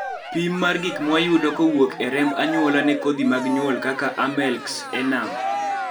pim mar gik mwayudo kowuok e remb anyuola ne kodhi mag nyuol kaka AMELX, ENAM